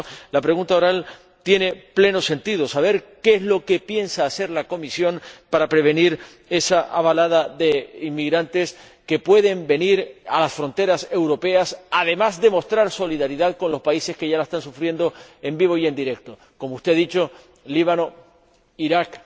Por eso, la pregunta con solicitud de respuesta oral tiene pleno sentido saber qué es lo que piensa hacer la Comisión para prevenir esa avalancha de inmigrantes que pueden llegar a las fronteras europeas, además de mostrar solidaridad con los países que ya la están sufriendo en vivo y en directo el Líbano, Irak,